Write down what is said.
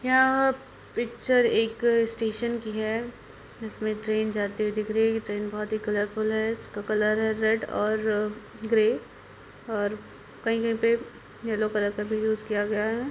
यह पिक्चर एक स्टेशन की है इस में ट्रेन जाते हुए दिख रही है| ट्रेन बहुत ही कलरफूल है| इसका कलर है रेड और ग्रे और कहीं-कहीं पे येलो कलर का भी यूज़ किया गया है।